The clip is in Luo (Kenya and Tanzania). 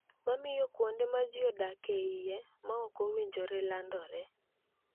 Ma miyo kuonde ma ji odak e iye ma ok owinjore landore.